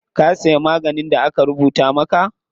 Ka siya maganin da aka rubuta maka?